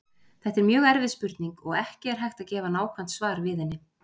Þetta er mjög erfið spurning og ekki er hægt að gefa nákvæmt svar við henni.